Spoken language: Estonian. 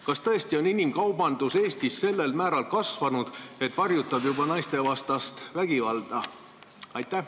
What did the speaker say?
Kas tõesti on inimkaubandus Eestis sellel määral kasvanud, et varjutab juba naistevastast vägivalda?